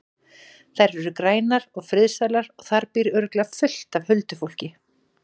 Þær eru grænar og friðsældarlegar og þar býr örugglega fullt af huldufólki.